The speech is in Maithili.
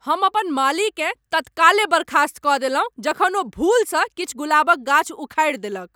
हम अपन मालीकेँ तत्काले बर्खास्त कऽ देलहुँ जखन ओ भूलसँ किछु गुलाबक गाछ उखारि देलक ।